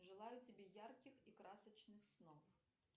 желаю тебе ярких и красочных снов